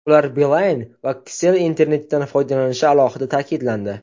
Ular Beeline va Kcell internetidan foydalanishi alohida ta’kidlandi.